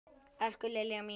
Elsku Lilja mín.